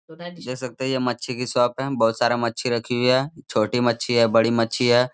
देख सकते है ये मच्छी की शॉप है बोहोत सारा मच्छी रखी हुई है छोटी मच्छी है बड़ी मच्छी है।